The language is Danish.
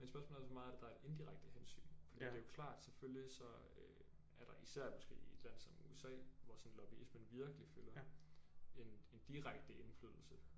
Men spørgsmålet er også hvor meget af det der er indirekte hensyn fordi det er jo klart selvfølgelig så øh er der især måske i et land som USA hvor sådan lobbyismen virkelig fylder en en direkte indflydelse